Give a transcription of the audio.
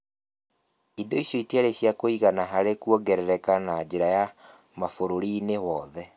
Indo icio itiarĩ cia kũigana harĩ kũongerereka na njĩra ya ma bũrũri-inĩ wothe.